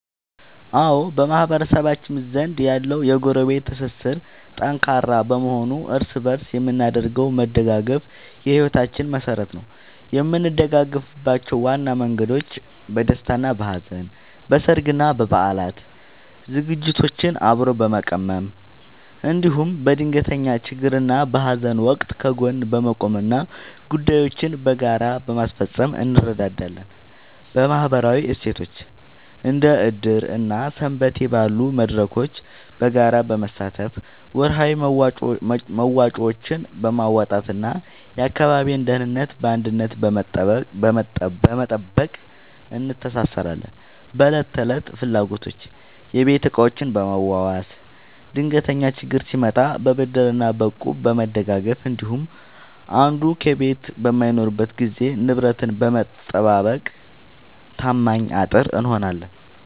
አዎ፣ በማህበረሰባችን ዘንድ ያለው የጎረቤት ትስስር ጠንካራ በመሆኑ እርስ በእርስ የምናደርገው መደጋገፍ የሕይወታችን መሠረት ነው። የምንደጋገፍባቸው ዋና መንገዶች፦ በደስታና በሐዘን፦ በሠርግና በበዓላት ዝግጅቶችን አብሮ በመቀመም፣ እንዲሁም በድንገተኛ ችግርና በሐዘን ወቅት ከጎን በመቆምና ጉዳዮችን በጋራ በማስፈጸም እንረዳዳለን። በማኅበራዊ እሴቶች፦ እንደ ዕድር እና ሰንበቴ ባሉ መድረኮች በጋራ በመሳተፍ፣ ወርሃዊ መዋጮዎችን በማዋጣትና የአካባቢን ደህንነት በአንድነት በመጠበቅ እንተሳሰራለን። በዕለት ተዕለት ፍላጎቶች፦ የቤት ዕቃዎችን በመዋዋስ፣ ድንገተኛ ችግር ሲመጣ በብድርና በእቁብ በመደጋገፍ እንዲሁም አንዱ ከቤት በማይኖርበት ጊዜ ንብረትን በመጠባበቅ ታማኝ አጥር እንሆናለን።